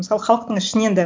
мысалы халықтың ішінен да